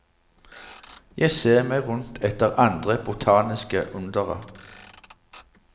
Jeg ser meg rundt etter andre botaniske undere.